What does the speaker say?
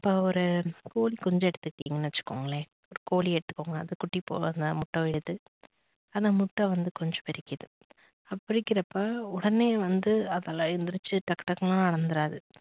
இப்ப ஒரு கோழிக்குஞ்சு எடுத்துக்கிட்டிங்கன்னு வச்சுக்கோங்கள கோழி எடுத்துக்கோங்க அது குட்டி போடுவது முட்டை விடுது அந்த முட்டை வந்து கொஞ்சம் பிரிக்கிது பிரிக்கிறப்ப உடனே வந்து அதால எந்திரிச்சு டக்கு டக்குனுலாம் நடந்துராது